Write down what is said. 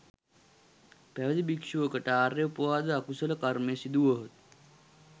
පැවිදි භික්‍ෂුවකට ආර්ය උපවාද අකුසල කර්මය සිදු වුවහොත්